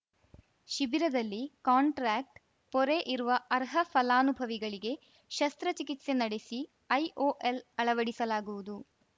ಶಿಬಿರದಲ್ಲಿ ಕಾಂಟ್ರಾಕ್ಟ್ ಪೊರೆ ಇರುವ ಅರ್ಹ ಫಲಾನುಭವಿಗಳಿಗೆ ಶಸ್ತ್ರಚಿಕಿತ್ಸೆ ನಡೆಸಿ ಐಒಎಲ್‌ ಅಳವಡಿಸಲಾಗುವುದು